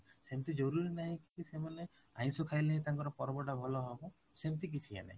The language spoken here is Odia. ସେମିତି ଜରୁରୀ ନାଇଁ କି ସେମାନେ ଆଇଁସ ଖାଇଲେ ହିଁ ତାଙ୍କର ପର୍ବଟା ଭଲ ହବ ସେମିତି କିଛି ନାଇଁ